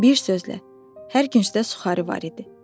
Bir sözlə, hər küncdə suxarı var idi.